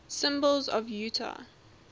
symbols of utah